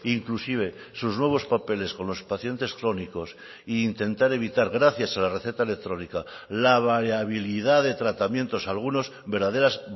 inclusive sus nuevos papeles con los pacientes crónicos e intentar evitar gracias a la receta electrónica la variabilidad de tratamientos algunos verdaderas